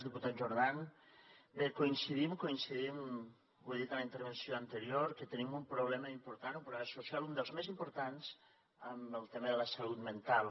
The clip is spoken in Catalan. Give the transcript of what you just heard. diputat jordan bé coincidim coincidim ho he dit en la intervenció anterior que tenim un problema important un problema social un dels més importants en el tema de la salut mental